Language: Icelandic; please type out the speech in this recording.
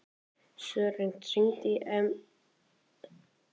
Sören, hringdu í Emilíönnu eftir tólf mínútur.